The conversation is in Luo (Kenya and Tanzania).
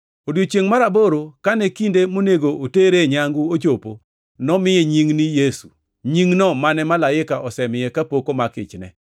Odiechiengʼ mar aboro kane kinde monego otere nyangu ochopo nomiye nying ni Yesu, nyingno mane malaika osemiye kapok omak ichne.